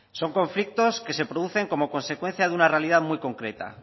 son conflictos que se producen como consecuencia de una realidad muy concreta